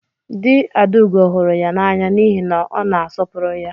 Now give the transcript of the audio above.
Dị Adaugo hụrụ ya n'anya n'ihi na ọ na-asọpụrụ ya.